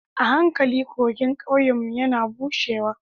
A hankali kogin ƙauyenmu yana bushewa